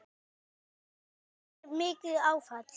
Þetta varð mér mikið áfall.